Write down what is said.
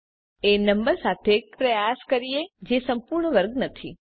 ચાલો એ નંબર સાથે પ્રયાસ કરીએ જે સંપૂર્ણ વર્ગ નથી